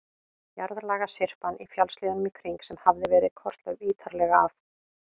Jarðlagasyrpan í fjallshlíðunum í kring, sem hafði verið kortlögð ítarlega af